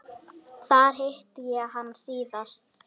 Þar hitti ég hann síðast.